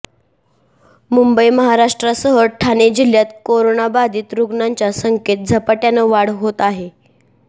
मुंबई महाराष्ट्रासह ठाणे जिल्ह्यात कोरोनाबाधित रुग्णांच्या संख्येत झपाट्यानं वाढ होत आहे